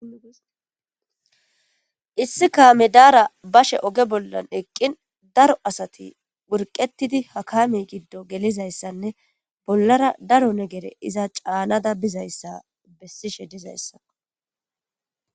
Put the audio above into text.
Issi kaame daara bashe oge bollan eqqin daro asati wurqetidi hakami giddo gelizayssanne bollara daro negere iza caanada bizayssa bessishe dizayssako